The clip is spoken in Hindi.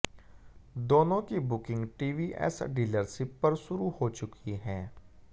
दोनों की बुकिंग टीवीएस डीलरशिप पर शुरू हो चुकी है